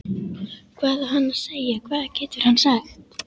Hvað á hann að segja, hvað getur hann sagt?